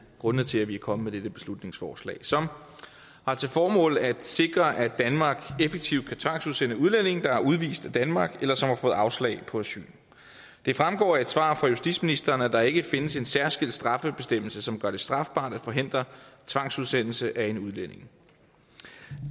grundene til at vi er kommet med dette beslutningsforslag som har til formål at sikre at danmark effektivt kan tvangsudsende udlændinge der er udvist af danmark eller som har fået afslag på asyl det fremgår af et svar fra justitsministeren at der ikke findes en særskilt straffebestemmelse som gør det strafbart at forhindre tvangsudsendelse af en udlænding